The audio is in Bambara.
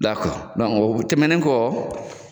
o tɛmɛnen kɔ